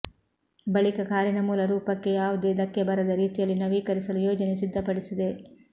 ಬಳಿಕ ಕಾರಿನ ಮೂಲ ರೂಪಕ್ಕೆ ಯಾವುದೇ ದಕ್ಕೆ ಬರದ ರೀತಿಯಲ್ಲಿ ನವೀಕರಿಸಲು ಯೋಜನೆ ಸಿದ್ದಪಡಿಸಿದೆ